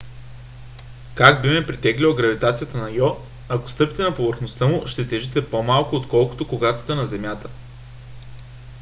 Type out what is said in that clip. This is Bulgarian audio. как би ме притеглила гравитацията на йо? ако стъпите на повърхността му ще тежите по - малко отколкото когато сте на земята